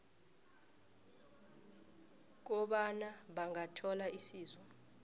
kobana bangathola isizo